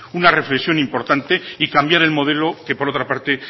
una reflexión importante y cambiar el modelo que por otra parte